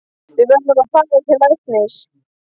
Við verðum að fara til læknis.